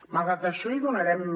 malgrat això hi donarem